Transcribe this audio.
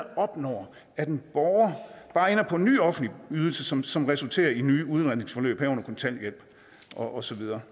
opnår at en borger bare ender på en ny offentlig ydelse som som resulterer i nye udredningsforløb herunder kontanthjælp og så videre